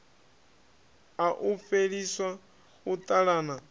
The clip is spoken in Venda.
a u fheliswa u talana